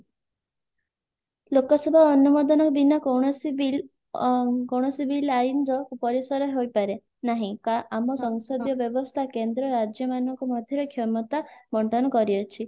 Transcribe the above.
ଲୋକସଭା ଅନୁମୋଦନ ବୀନା କୌଣସି bill ଅ କୌଣସି bill ଆଇନର ପରିସର ହୋଇପାରେ ନାହିଁ କା ଆମ ସଂସଦୀୟ ବ୍ୟବସ୍ଥା କେନ୍ଦ୍ର ରାଜ୍ୟ ମାନଙ୍କ ମଧ୍ୟରେ କ୍ଷମତା ବଣ୍ଟନ କରିଅଛି